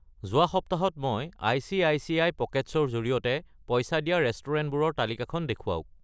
যোৱা সপ্তাহ ত মই আই.চি.আই.চি.আই. পকেটছ্‌ ৰ জৰিয়তে পইচা দিয়া ৰেষ্টুৰেণ্টবোৰৰ তালিকাখন দেখুৱাওক।